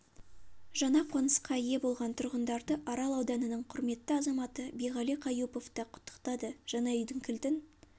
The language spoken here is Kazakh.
жаңа қонысқа ие болған тұрғындарды арал ауданының құрметті азаматы биғали қаюпов та құттықтады жаңа үйдің кілтін